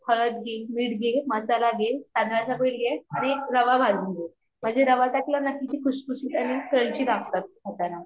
हळद घे मीट घे मसाला घे तांदळाच पीठ घे आणि रवा भाजून घे म्हणजे रवा टाकला ना की ते खुसखुशित आणि क्रंची लागतात खाताना